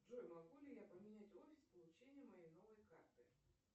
джой могу ли я поменять офис получения моей новой карты